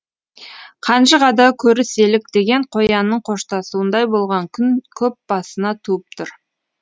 қанжығада көріселік деген қоянның қоштасуындай болған күн көп басына туып тұр